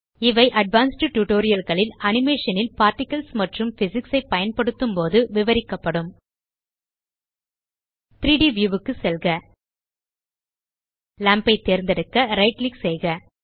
இவை advanced tutorial களில் animation ல் பார்ட்டிகிள்ஸ் மற்றும் பிசிக்ஸ் ஐ பயன்படுத்தும் போது விவரிக்கப்படும் 3ட் வியூ க்கு செல்க லாம்ப் ஐ தேர்ந்தெடுக்க ரைட் கிளிக் செய்க